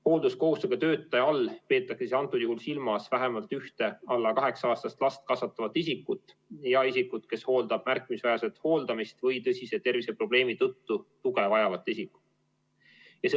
Hoolduskohustusega töötaja all peetakse antud juhul silmas vähemalt ühte alla 8-aastast last kasvatavat isikut, ja isikut, kes hooldab märkimisväärset hooldamist või tõsise terviseprobleemi tõttu tuge vajavat isikut.